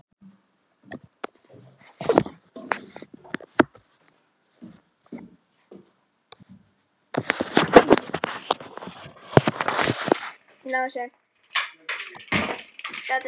Sigurbjartur Pálsson heyrir þetta ekki, augun límd við Ragnhildi